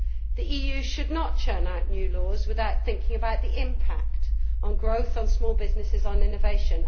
The EU should not churn out new laws without thinking about the impact on growth, small businesses and innovation.